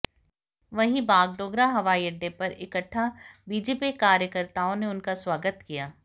वहीं बागडोगरा हवाई अड्डे पर इकट्ठा बीजेपी कार्यकर्ताओं ने उनका स्वागत किया